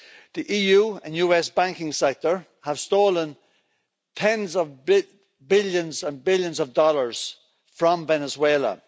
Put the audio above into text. The EU and US banking sector have stolen tens of billions and billions of dollars from Venezuela.